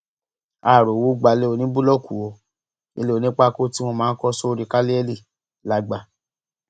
a ò rówó gbalẹ oníbúlọọkù o ilẹ onípákó tí wọn máa ń kọ sórí káàlẹlì la gbà